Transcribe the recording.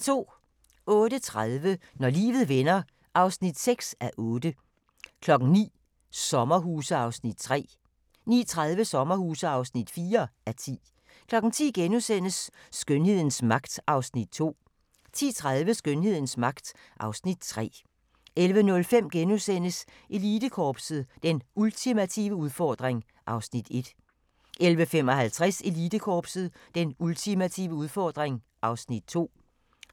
08:30: Når livet vender (6:8) 09:00: Sommerhuse (3:10) 09:30: Sommerhuse (4:10) 10:00: Skønhedens magt (Afs. 2)* 10:30: Skønhedens magt (Afs. 3) 11:05: Elitekorpset – Den ultimative udfordring (Afs. 1)* 11:55: Elitekorpset – Den ultimative udfordring (Afs. 2)